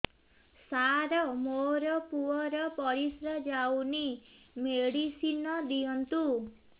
ସାର ମୋର ପୁଅର ପରିସ୍ରା ଯାଉନି ମେଡିସିନ ଦିଅନ୍ତୁ